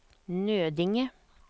Nödinge